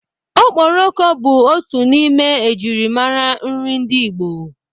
Okporoko bu otu n'ime ejirimara nri ndi Igbo.